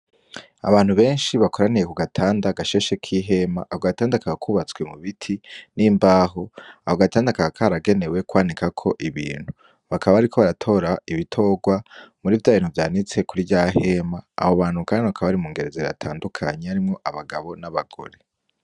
Abantu benshi bakoraniye kugatanda gashasheko ihema ako gatanda kakaba kubatswe mubiti n'imbaho ako gatanda kakaba karagenewe kwanikako ibintu nakaba bariko baratora ibitogwa muri vyabintu vyanitse kuri ryahema abo bantu kandi bakaba bari mungeri zitandukanye harimwo abagabo n'abagore.